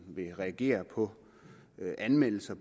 vil reagere på anmeldelser